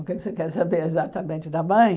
O que é que você quer saber exatamente da mãe?